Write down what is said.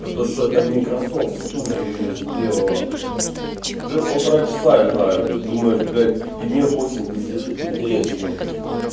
а то что-то это микрософт студию её сделала блять уже полтора часа играю ты думаешь блять и мне очень пиздец как интересно